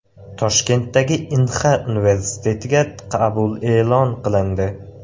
Toshkentdagi Inxa universitetiga qabul e’lon qilindi.